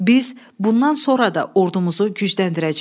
Biz bundan sonra da ordumuzu gücləndirəcəyik.